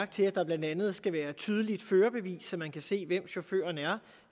til at der blandt andet skal være tydeligt førerbevis så man kan se hvem chaufføren er